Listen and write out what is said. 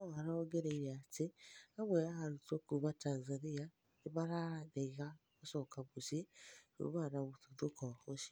No arongereĩre atĩ amwe a arũtwo kũma Tanzania nĩmararega gũcoka mĩcĩĩ kumana na mũtũthũko ũcĩo